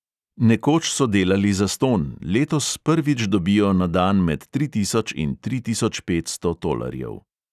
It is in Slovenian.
Nekoč so delali zastonj, letos prvič dobijo na dan med tri tisoč in tri tisoč petsto tolarjev.